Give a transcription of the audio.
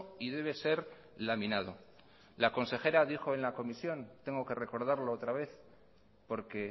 y debe ser laminado la consejera dijo en la comisión tengo que recordarlo otra vez porque